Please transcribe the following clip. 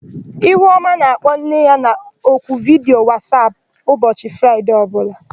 Ihuọma na-akpọ nne ya n'oku vidiyo Wasap ụbọchị Fraịde ọbụla.